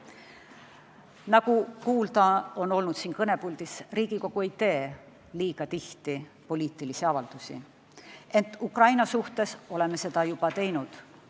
Nagu siin kõnepuldis on kuulda olnud, Riigikogu ei tee liiga tihti poliitilisi avaldusi, ent Ukraina suhtes oleme seda juba teinud.